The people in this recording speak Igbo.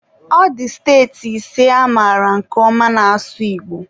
ọ dị steeti ise amaara nke ọma na-asụ Igbo